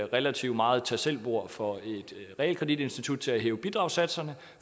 relativt meget tag selv bord for et realkreditinstitut til at hæve bidragssatserne